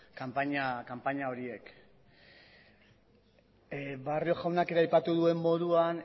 kanpaina horiek barrio jaunak ere aipatu duen moduan